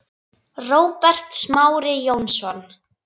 Róbert Smári Jónsson